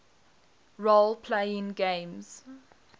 role playing games